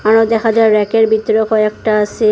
আরও দেখা যায় র‍্যাকের ভিতরে কয়েকটা আসে।